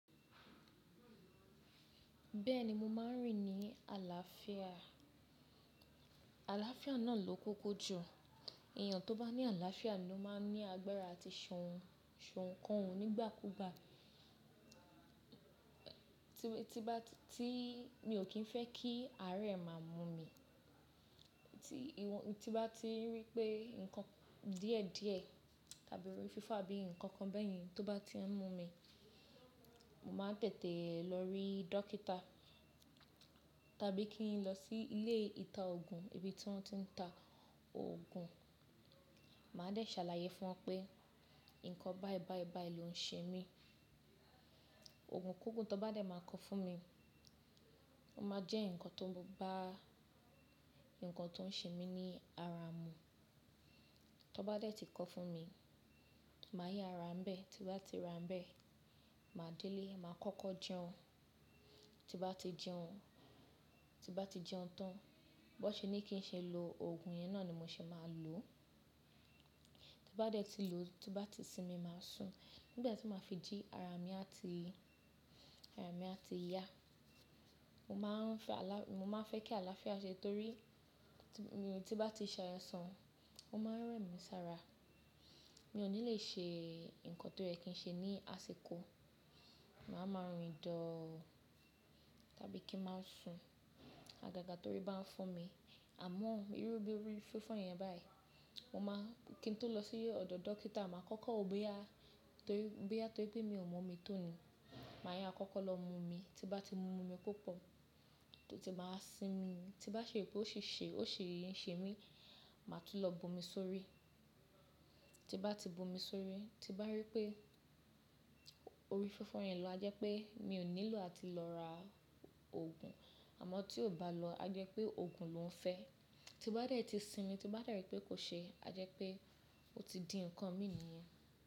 Bẹ́ẹ̀ni mo máa ń rìn ní àlàáfíà. Àlàáfíà náà ló koko jù. Ẹ̀yàn tó bá ní àlàáfíà ni ó máa ń ní agbára àti ṣe òuǹk òun nígbàkúgbà. Ti mo ti bá, tí mi ò kín fẹ́ kí àárẹ̀ máa mú mi, tí ìwọ, tí bá ti rí pé nǹkan díẹ̀ díẹ̀ tàbí orí fífọ́ abíi nǹkan kan bẹ́ẹ̀yẹn tó bá ti ń mú mi, mo máa tètè lọ rí dókítà tàbí kí n lọ sí ilé ìta òògùn, ibi tí wọ́n ti ń ta òògùn. Màá dẹ̀ ṣàlàyé fún wọn pé nǹkan bá ẹ bá ẹ bá ẹ ló ń ṣe mí. Oògùn kogún tó bá dé máa kọ fún mi. Ó máa jẹ́ nǹkan tó bá, nǹkan tó ń ṣe mí ní ara mú. Tó bá dé tí kọ fún mi, màá ya ra bẹ́ẹ̀ tí bá ti ra bẹ́ẹ̀, màá délé, màá kọ́kọ́ jẹun. Ti bá ti jẹun, tí bá ti jẹun tán, bó ṣe ní kí n ṣe lo òògùn yẹn náà ni mo ṣe máa lò ó. Ti bá dé tí lò ó, tí bá ti sinmi, màá sùn. Nígbà tí màá fi jí ara mi á ti, ara mi á ti yá. Mo máa ń fẹ́ àlàá-- mo máa ń fẹ́ kí àlàáfíà ṣẹ torí tí bá ti ṣai sàn, ó máa ń rẹ̀ mí sára. Mi ò ní le ṣe nǹkan tó yẹ kí n ṣe ní àsìkò. Màá ma rìn dọ́ọ̀ tàbí kí n máa sùn. Àgàgà torí bá ń fún mi. Àmọ́ irú bí orí fífọ́ yẹn báyìí, mo máa kí n tó lọ sí ọ̀dọ̀ dókítà, màá kọ́kọ́ wo boya torí, bíya torí pé mi ò mọ̀ mi tọ́ni. Màá ya àkọ́kọ́ lọ mu mi, tí bá ti mú mi púpọ̀, tínba wá sinmi. Tí bá ṣe pé ó ṣe é ṣe, ó ṣe yé ń ṣe mí, màá tun lọ bo mi sórí. Tí bá ti bu mi sórí, tí bá rí pé orí fífọ́ yẹn lọ, a jẹ́ pé mi ò nílò àti lọ ra òògùn. Àmọ́ tí ò bá lọ, a jẹ́ pé òògùn ló ń fẹ́. Tí ó bá dé tí sinmi, tí ó bá rí pé kò ṣe é, a jẹ́ pé ó ti di nǹkan mi nìyẹn.